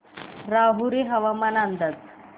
राहुरी हवामान अंदाज